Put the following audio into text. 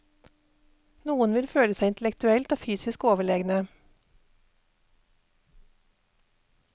Noen vil føle seg intellektuelt og fysisk overlegne.